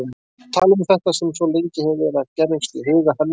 Tala um þetta sem svo lengi hefur verið að gerjast í huga hennar.